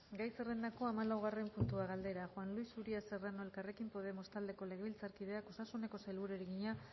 gai zerrendako hamalaugarren puntua galdera juan luis uria serrano elkarrekin podemos taldeko legebiltzarkideak osasuneko sailburuari egina